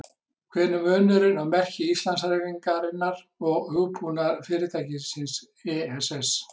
Hver er munurinn á merki Íslandshreyfingarinnar og hugbúnaðarfyrirtækisins ESS?